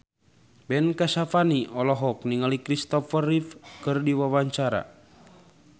Ben Kasyafani olohok ningali Kristopher Reeve keur diwawancara